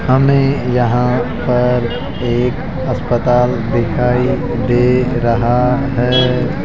हमे यहाँ पर एक अस्पताल दिखाई दे रहा हैं।